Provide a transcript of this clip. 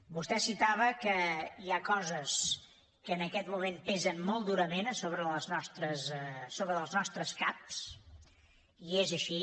vostè citava que hi ha coses que en aquest moment pesen molt durament a sobre dels nostres caps i és així